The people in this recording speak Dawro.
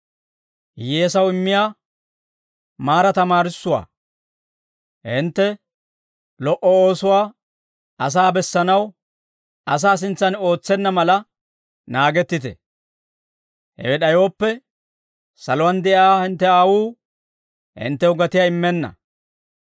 «Hintte lo"o oosuwaa asaa bessanaw asaa sintsaan ootsenna mala naagettite; hewe d'ayooppe, saluwaan de'iyaa hintte Aawuu hinttew gatiyaa immenna.